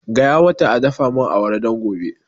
Gaya mata a dafa mun awara don gobe